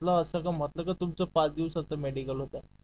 म्हंटल असं का तुमचं पाच दिवसाचं मेडिकल होत